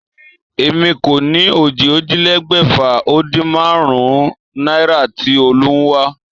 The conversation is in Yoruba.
Èmi kó̩ ni ó jí ójìlélé̩gbè̩fà-o-din-márún-ún náírà tí Olú ń wá